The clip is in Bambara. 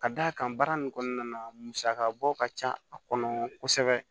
Ka d'a kan baara nin kɔnɔna na musaka bɔ ka ca a kɔnɔ kosɛbɛ